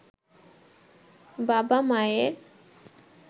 বাবা-মায়ের